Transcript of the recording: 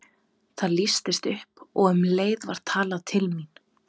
Það lýstist upp og um leið var talað til mín.